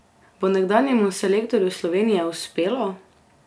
Bo nekdanjemu selektorju Slovenije uspelo?